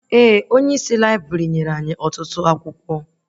Ee, Onyeisi laibrị nyere anyị ọtụtụ akwụkwọ